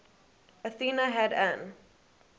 athena had an